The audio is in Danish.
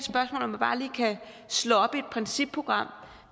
slå op i et principprogram